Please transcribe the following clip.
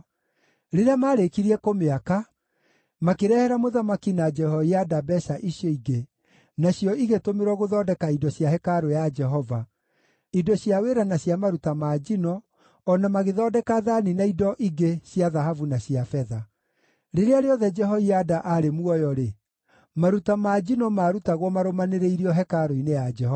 Rĩrĩa maarĩkirie kũmĩaka, makĩrehera mũthamaki na Jehoiada mbeeca icio ingĩ, nacio igĩtũmĩrwo gũthondeka indo cia hekarũ ya Jehova: indo cia wĩra na cia maruta ma njino, o na magĩthondeka thaani na indo ingĩ cia thahabu na cia betha. Rĩrĩa rĩothe Jehoiada aarĩ muoyo-rĩ, maruta ma njino maarutagwo marũmanĩrĩirio hekarũ-inĩ ya Jehova.